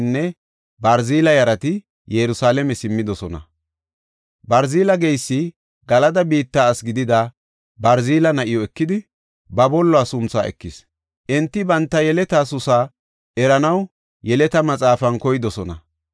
Enti banta yeletaa susa eranaw yeleta maxaafan koydosona, shin demmibookona. Hessa gisho, enti tunada taybetidi kahinetethan oothonna mela digetidosona.